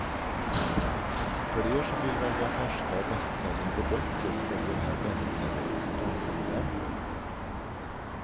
För er som vill välja färska och bästsäljande böcker följer här bestsellerlistan för november.